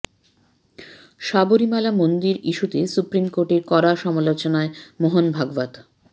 সাবরীমালা মন্দির ইস্যুতে সুপ্রিম কোর্টের কড়া সমালোচনায় মোহন ভাগবত